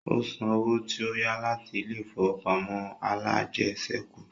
Ó san owó tí ó yá láti ilé ìfowópamọ́ alájẹsẹ́kù